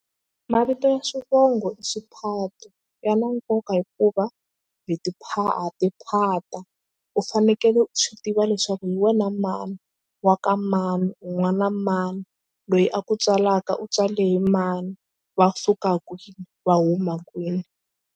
Mavito ya swivongo i swiphato ya na nkoka hikuva hi ha tiphata. U fanekele u swi tiva leswaku hi wena mani wa ka mani u n'wana na mani loyi a ku tswalaka u tswala hi mani va suka kwini va huma kwini.